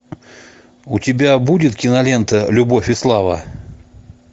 у тебя будет кинолента любовь и слава